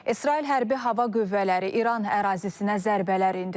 İsrail Hərbi Hava Qüvvələri İran ərazisinə zərbələr endirib.